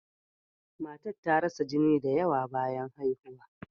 Matan ta rasa jini da yawa bayan haihuwa.